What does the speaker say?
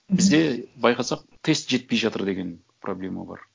бізде байқасақ тест жетпей жатыр деген проблема бар